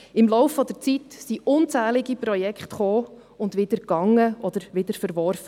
Im Laufe der Zeit kamen und gingen unzählige Projekte, oder sie wurden wieder verworfen.